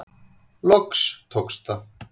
Loks tókst það.